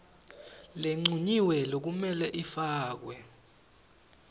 lencunyiwe lekumele ifakwe